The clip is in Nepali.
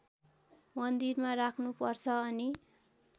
मन्दिरमा राख्नुपर्छ अनि